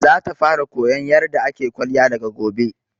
Za ta fara koyan yarda ake kwalliya daga gobe